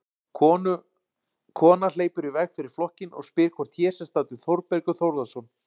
Kona hleypur í veg fyrir flokkinn og spyr hvort hér sé staddur Þórbergur Þórðarson.